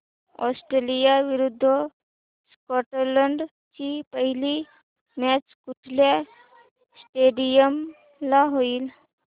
Australia विरुद्ध Scotland ची पहिली मॅच कुठल्या स्टेडीयम ला होईल